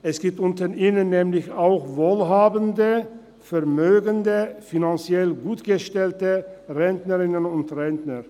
Es gibt unter ihnen nämlich auch wohlhabende, vermögende, finanziell gut gestellte Rentnerinnen und Rentner.